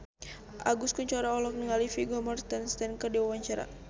Agus Kuncoro olohok ningali Vigo Mortensen keur diwawancara